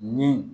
Ni